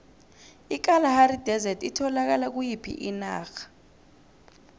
ikalahari desert itholakala kuyiphi inarha